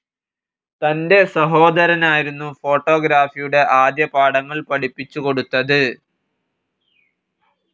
തൻ്റെ സഹോദരനായിരുന്നു ഫോട്ടോഗ്രാഫിയുടെ ആദ്യപാഠങ്ങൾ പഠിപ്പിച്ചുകൊടുത്തതു.